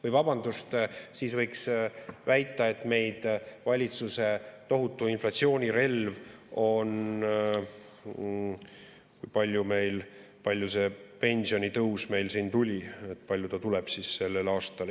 Või vabandust, siis võiks väita, et meie valitsuse tohutu inflatsiooni relv on – kui palju see pensionitõus meil siin tuli, palju ta tuleb sel aastal.